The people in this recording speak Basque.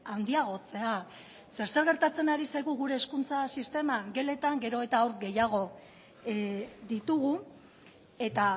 handiagotzea zer gertatzen ari zaigu gure hezkuntza sisteman geletan gero eta haur gehiago ditugu eta